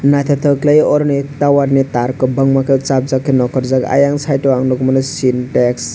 naitotok kelaioe oro ni tower ni tar kobangma ke sapjak ke nokorjak ayang site o ang nogmano sintex.